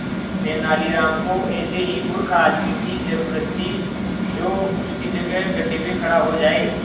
तेनालीराम को ऐसे ही मूर्ख आदमी की जरूरत थी जो उसकी जगह गड्ढे में खड़ा हो जाए